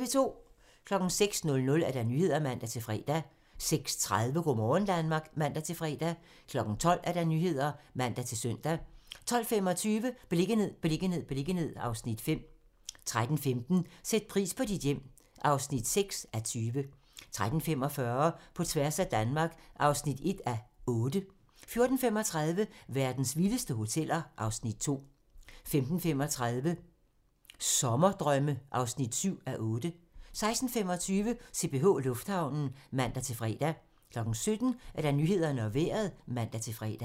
06:00: Nyhederne (man-fre) 06:30: Go' morgen Danmark (man-fre) 12:00: Nyhederne (man-søn) 12:25: Beliggenhed, beliggenhed, beliggenhed (Afs. 5) 13:15: Sæt pris på dit hjem (6:20) 13:45: På tværs af Danmark (1:8) 14:35: Verdens vildeste hoteller (Afs. 2) 15:35: Sommerdrømme (7:8) 16:25: CPH Lufthavnen (man-fre) 17:00: Nyhederne og Vejret (man-fre)